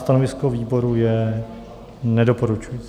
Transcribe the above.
Stanovisko výboru je nedoporučující.